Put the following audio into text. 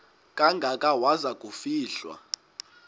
kangaka waza kufihlwa